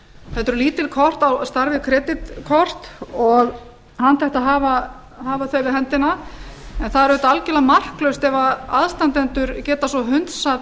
þetta eru lítil kort á stærð við kreditkort og handhægt að hafa þau við höndina en það er auðvitað algerlega marklaust ef aðstandendur geta svo hunsað